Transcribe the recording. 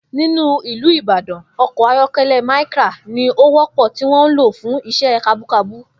Nínú ìlú Ìbàdàn, o̩kò̩ ayó̩ké̩lé̩ Micra ni ó wó̩pò̩ tí wó̩n ń lò fún is̩é̩ kabúkabú